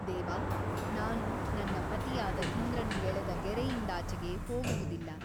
ದೇವ ನಾನು ನನ್ನ ಪತಿಯಾದ ಇಂದ್ರನು ಎಳೆದ ಗೆರೆಯಿಂದಾಚೆಗೆ ಹೋಗುವುದಿಲ್ಲ.